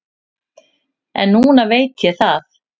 En núna veit ég það.